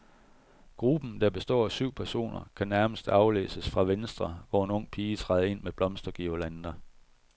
Gruppen, der består af syv personer, kan nærmest aflæses fra venstre, hvor en ung pige træder ind med blomsterguirlander.